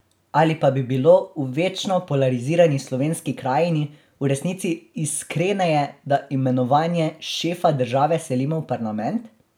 Ali pa bi bilo, v večno polarizirani slovenski krajini, v resnici iskreneje, da imenovanje šefa države selimo v parlament?